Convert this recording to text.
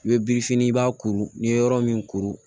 I bɛ birifini b'a kuru ni ye yɔrɔ min kuru